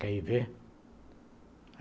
Quer ir ver?